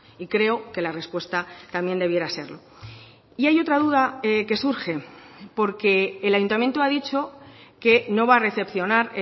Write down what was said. y creo que la respuesta también debiera serlo y hay otra duda que surge porque el ayuntamiento ha dicho que no va a recepcionar